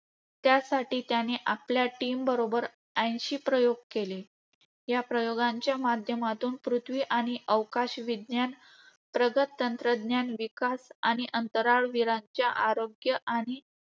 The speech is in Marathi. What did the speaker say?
त्यासाठी त्याने आपल्या टीमबरोबर ऐंशी प्रयोग केले. या प्रयोगांच्या माध्यमातून पृथ्वी आणि अवकाश विज्ञान, प्रगत तंत्रज्ञान विकास आणि अंतराळवीरांच्या आरोग्य आणि